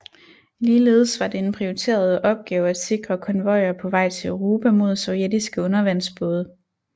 Ligeledes var det en prioriteret opgave at sikre konvojer på vej til Europa mod sovjetiske undervandsbåde